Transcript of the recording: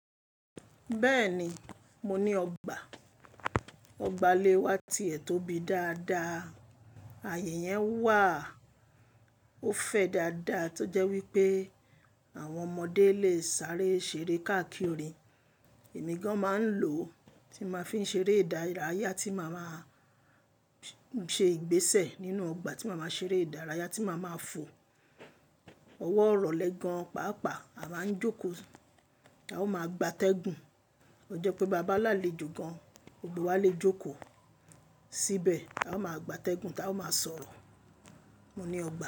Bẹ́ẹ̀ni, mo ní ọgbà. Ọgbà ilé wá ti è tóbi dáadáa. Ààyè yẹn wà á, ó fẹ̀ dáadáa tó jẹ́ wípé àwọn ọmọdé lè sáré ṣeré káàkiri. Ìmí gan máa ń lò tí máa fi ń ṣeré ìdárayá tí màá máa ṣe ìgbésẹ̀ nínú ọgbà tí màá máa ṣeré ìdárayá tí màá máa fò ọwọ́'rọ̀lè gan, pàápàá a máa ń jókòó. A ó máa gba tẹ́gùn. O jẹ́ pé bàá bá lálejò gan, gbogbo wa lè jókòó síbẹ̀. A ó máa gba tẹ́gùn tá a ó máa sọ̀rọ̀. Mo ní ọgbà.